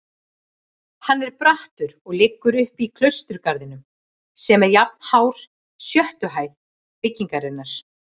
Hann er brattur og liggur uppí klausturgarðinn sem er jafnhár sjöttu hæð byggingarinnar.